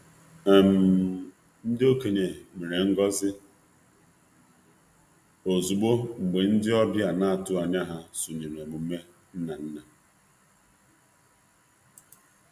Ndị okenye nwetara ngọzi mgbe ndị ọbịa ha na-atụghị anya ha sonye n'nmenme ndị nna ochie.